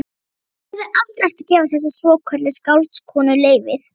Pabbi hefði aldrei átt að gefa þessari svokölluðu skáldkonu leyfið.